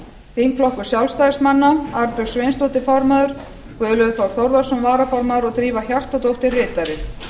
þingflokkur sjálfstæðismanna arnbjörg sveinsdóttir formaður guðlaugur þór þórðarson varaformaður og drífa hjartardóttir ritari